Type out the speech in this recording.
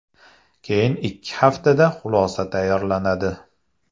Keyin ikki haftada xulosa tayyorlanadi.